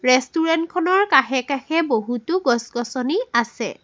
Restaurant খনৰ কাষে কাষে বহুতো গছ গছনি আছে।